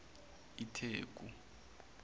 itheku